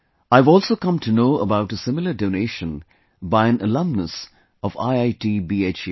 I have also come to know about a similar donation by an alumnus of IIT BHU